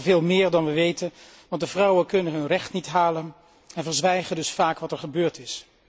Het zijn er veel meer dan wij weten, want de vrouwen kunnen hun recht niet halen en verzwijgen dus vaak wat er gebeurd is.